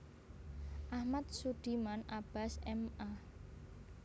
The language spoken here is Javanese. Ahmad Sudiman Abbas M A